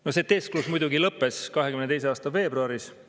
No see teesklus muidugi lõppes 2022. aasta veebruaris.